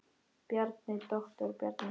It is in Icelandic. Bjarni, doktor Bjarni.